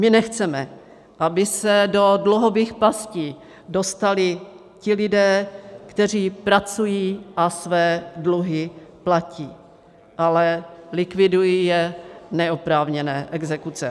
My nechceme, aby se do dluhových pastí dostali ti lidé, kteří pracují a své dluhy platí, ale likvidují je neoprávněné exekuce.